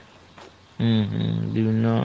হুম হুম বিভিন্ন